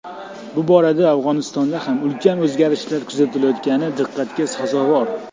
Bu borada Afg‘onistonda ham ulkan o‘zgarishlar kuzatilayotgani diqqatga sazovor.